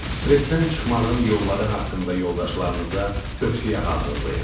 Stressdən çıxmağın yolları haqqında yoldaşlarınıza tövsiyə hazırlayın.